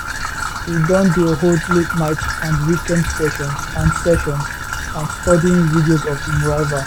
e don dey hold la ten ight and weekend sessions and sessions and studying videos of im rival